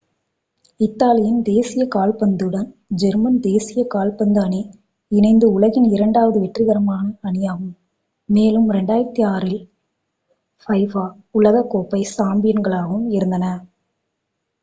இத்தாலியின் தேசிய கால்பந்துடன் ஜெர்மன் தேசிய கால்பந்து அணி இணைந்து உலகின் இரண்டாவது வெற்றிகரமான அணியாகும் மேலும் 2006-இல் fifa உலகக் கோப்பை சாம்பியன்களாகவும் இருந்தனர்